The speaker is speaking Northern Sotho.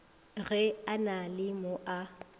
ge a le mo a